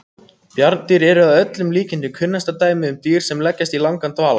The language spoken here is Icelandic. Bjarndýr eru að öllum líkindum kunnasta dæmið um dýr sem leggjast í langan dvala.